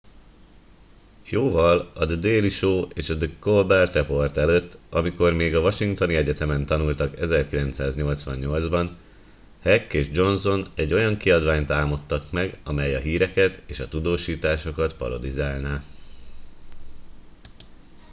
jóval a the daily show és a the colbert report előtt amikor még a washingtoni egyetemen tanultak 1988 ban heck és johnson egy olyan kiadványt álmodtak meg amely a híreket és a tudósításokat parodizálná